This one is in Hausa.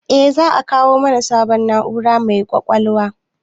Eh, za a kawo mana sabon na'ura mai ƙwaƙwalwa